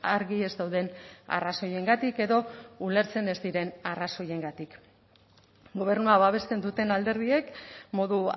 argi ez dauden arrazoiengatik edo ulertzen ez diren arrazoiengatik gobernua babesten duten alderdiek modu